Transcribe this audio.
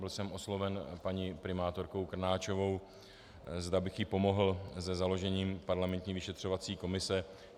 Byl jsem osloven paní primátorkou Krnáčovou, zda bych jí pomohl se založením parlamentní vyšetřovací komise.